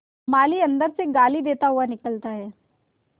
माली अंदर से गाली देता हुआ निकलता है